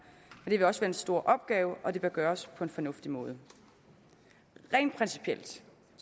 det vil også være en stor opgave og det bør gøres på en fornuftig måde rent principielt